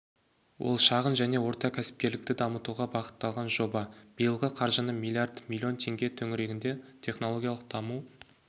ол шағын және орта кәсіпкерлікті дамытуға бағытталған жоба биылғы қоржыны млрд млн теңге төңірегінде технологиялық даму